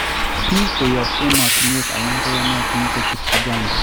Biik koyob emotinwek alak koyonotin kochuut Uganda